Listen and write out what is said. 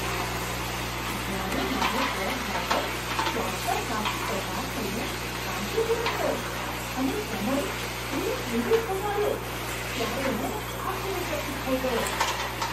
જ્યારે મારો cab driver શોર્ટકટમાંથી પસાર થઈને કાંચીપુરમ ગયો અને સમય ત્રીસ મિનિટ ઘટાડ્યો ત્યારે હું આશ્ચર્યચકિત થઈ ગયો!